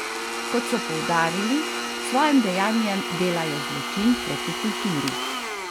Kot so poudarili, s svojim dejanjem delajo zločin proti kulturi.